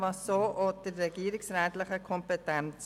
Das entspricht auch der regierungsrätlichen Kompetenz.